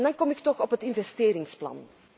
En dan kom ik toch op het investeringsplan.